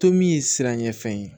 To min ye siran ɲɛfɛn ye